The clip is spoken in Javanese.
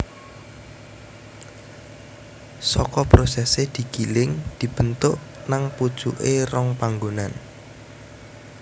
Saka prosesé digiling dibentuk nang pucuké rong panggonan